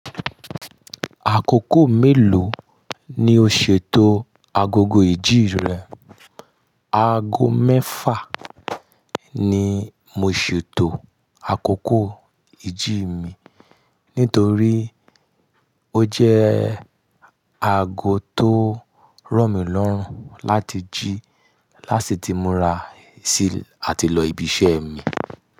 Àkókò mélòó ni o ṣètò agogo ìjí rẹ? Ago mẹ́fà ni mo ṣètò àkókò ìjí mi nítorí ó jẹ́ ago tó ro mí lọ́rùn láti jí lási tí mo ra ṣí àti lọ ibi iṣẹ́ mi.